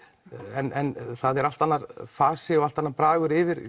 en það er allt annað fas allt annar bragur yfir